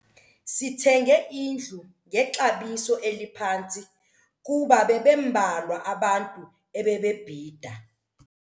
Sithenge indlu ngexabiso eliphantsi kuba bebembalwa abantu ebebebhida.